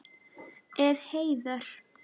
Ef. heiðar